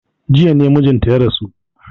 Jiya ne mijinta ya rasu.